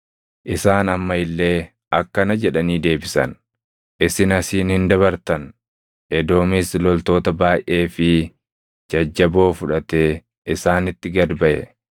Isaan amma illee akkana jedhanii deebisan: “Isin asiin hin dabartan.” Edoomis loltoota baayʼee fi jajjaboo fudhatee isaanitti gad baʼe.